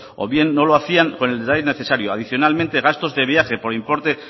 o bien no lo hacían con el detalle necesario adicionalmente gastos de viaje por importe